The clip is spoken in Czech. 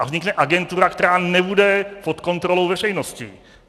A vznikne agentura, která nebude pod kontrolou veřejnosti.